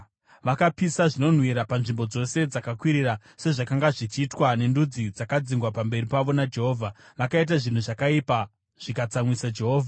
Vakapisa zvinonhuhwira panzvimbo dzose dzakakwirira, sezvakanga zvichiitwa nendudzi dzakadzingwa pamberi pavo naJehovha. Vakaita zvinhu zvakaipa zvikatsamwisa Jehovha.